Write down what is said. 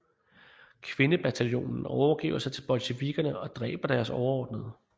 Kvindebataljonen overgiver sig til bolsjevikkerne og dræber deres overordnede